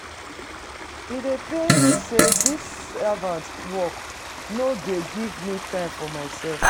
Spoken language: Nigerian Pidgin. E dey pain me sey dis servant work no dey give me time for mysef.